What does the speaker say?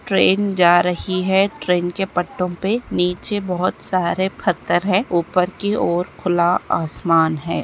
Train जा रही है ट्रैन के पट्टो पे नीचे बहुत सारे पत्थर हैं ऊपर की और खुला आसमान हैं।